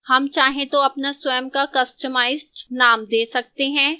हम चाहे तो अपना स्वयं का customised name we सकते हैं